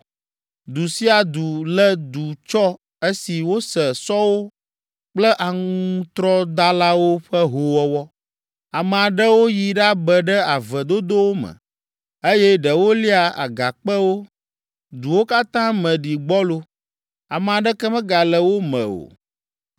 Du sia du lé du tsɔ esi wose sɔwo kple aŋutrɔdalawo ƒe hoowɔwɔ. Ame aɖewo yi ɖabe ɖe ave dodowo me, eye ɖewo lia agakpewo. Duwo katã me ɖi gbɔlo: ame aɖeke megale wo me o.